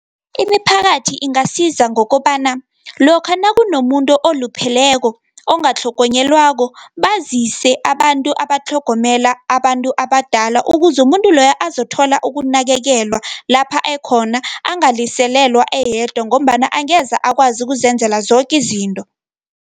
Imiphakathi ingasiza ngokobana, lokha nakunomuntu olupheleko, ongatlhogonyelwako, bazise abantu abatlhogomela abantu abadala, ukuze umuntu loyo azothola ukunakekelwa lapha ekhona angaliselelwa eyedwa ngombana angeze akwazi ukuzenzela zoke izinto.